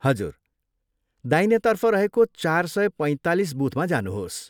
हजुर, दाहिनेतर्फ रहेको चार सय पैँतालिस बुथमा जानुहोस्।